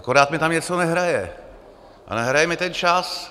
Akorát mi tam něco nehraje a nehraje mi ten čas.